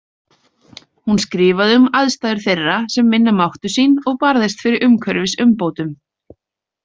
Hún skrifaði um aðstæður þeirra sem minna máttu sín og barðist fyrir umhverfisumbótum.